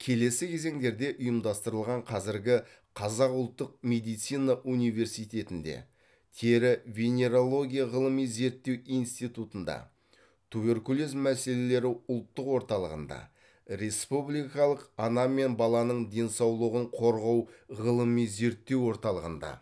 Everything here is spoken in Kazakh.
келесі кезеңдерде ұйымдастырылған қазіргі қазақ ұлттық медицина университетінде тері венерология ғылыми зерттеу институтында туберкулез мәселелері ұлттық орталығында республикалық ана мен баланың денсаулығын қорғау ғылыми зерттеу орталығында